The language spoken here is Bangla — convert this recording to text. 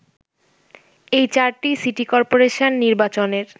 এই চারটি সিটি কর্পোরেশন নির্বাচনের